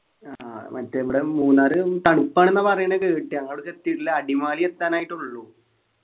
ആഹ് മറ്റേ നമ്മുടെ മൂന്നാറ് തണുപ്പ് ആണെന്നാ പറയണെ കേട്ടെ നമ്മളവിടേക്കെത്തിട്ടില്ല അടിമാലി എത്താനായിട്ടുള്ളൂ